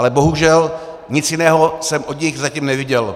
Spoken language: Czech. Ale bohužel, nic jiného jsem od nich zatím neviděl.